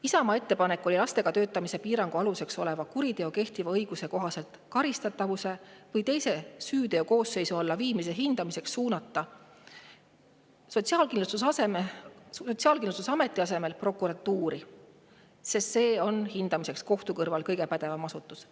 Isamaa ettepanek oli suunata lastega töötamise piirangu aluseks oleva kuriteo karistatavuse või teise süüteokoosseisu alla viimise hindamine Sotsiaalkindlustusametist prokuratuuri alla, mis on selle hindamiseks kohtu kõrval kõige pädevam asutus.